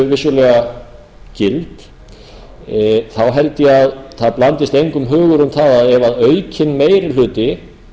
vissulega gild held ég að það blandist engum hugur um það að ef aukinn meiri hluti